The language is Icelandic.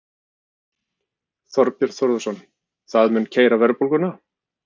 Þorbjörn Þórðarson: Það mun keyra verðbólguna?